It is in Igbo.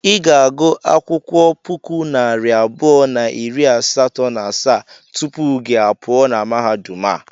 I ga-agụ akwụkwọ puku na narị abụọ na iri asatọ na asaa tupu gị a pụọ na mahadum a.